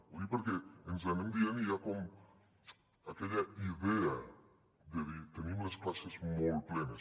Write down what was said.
ho dic perquè ens ho anem dient i hi ha com aquella idea de dir tenim les classes molt plenes